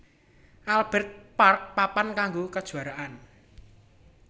Albert Park papan kanggo kajuaraan